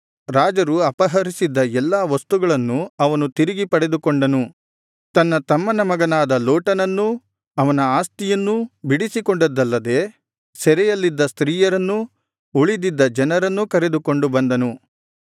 ರಾಜರು ಅಪಹರಿಸಿದ್ದ ಎಲ್ಲಾ ವಸ್ತುಗಳನ್ನು ಅವನು ತಿರುಗಿ ಪಡೆದುಕೊಂಡನು ತನ್ನ ತಮ್ಮನ ಮಗನಾದ ಲೋಟನನ್ನೂ ಅವನ ಆಸ್ತಿಯನ್ನೂ ಬಿಡಿಸಿಕೊಂಡದ್ದಲ್ಲದೆ ಸೆರೆಯಲ್ಲಿದ್ದ ಸ್ತ್ರೀಯರನ್ನೂ ಉಳಿದಿದ್ದ ಜನರನ್ನು ಕರೆದುಕೊಂಡು ಬಂದನು